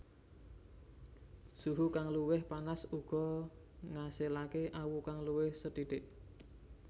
Suhu kang luwih panas uga ngasilake awu kang luwih sethithik